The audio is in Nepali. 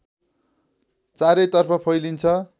चारैतर्फ फैलिन्छ